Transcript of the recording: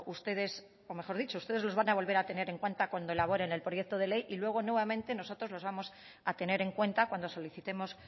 ustedes o mejor dicho ustedes los van a volver a tener en cuenta cuando elaboren el proyecto de ley y luego nuevamente nosotros los vamos a tener en cuenta cuando solicitemos